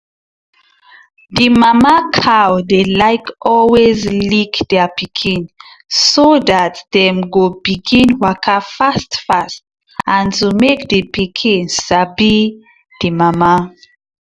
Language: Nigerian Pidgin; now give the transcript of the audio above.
the mama cow dy like always lick their pikin so that dem go begin waka fast fast and to make the pikinsabi the mama